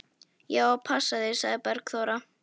Ég á að passa þig, sagði Bergþóra.